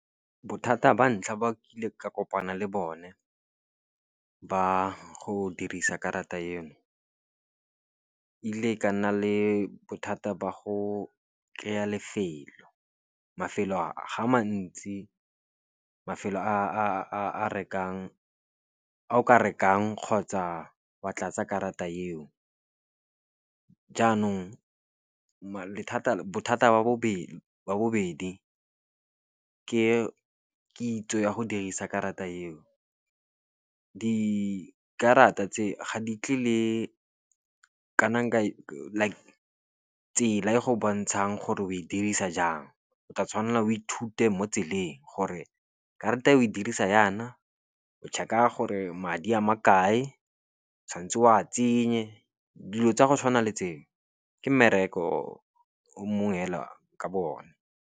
Bothata ba ntlha ba kile ka kopana le bone ba go dirisa karata eno, ile ka nna le bothata ba go kry-a lefelo. Mafelo ga a mantsi ao ka rekang kgotsa wa tlatsa karata eo. Jaanong bothata ba bobedi ke kitso ya go dirisa karata eo. Dikarata tse ga di tle le kana ka tsela e go bontshang gore o e dirisa jang. O tla tshwanela o ithute mo tseleng gore ke rata eo oe dirisa yana, o check-a gore madi a ma kae, tshwanetse o a tsenye, dilo tsa go tshwana le tseo. Ke mmereko o mongwe fela ka bo o ne.